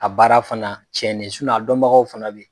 A baara fana cɛnnen a dɔnbagaw fana bɛ yen.